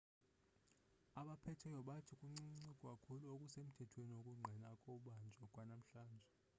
abaphetheyo bathi kuncinci kakhulu okusemthethweni okungqina ukubanjwa kwanamhlanje